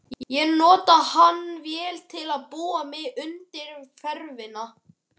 Ég notaði hann vel til að búa mig undir ferðina.